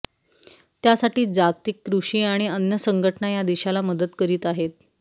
त्यासाठी जागतिक कृषी आणि अन्न संघटना या देशाला मदत करीत आहे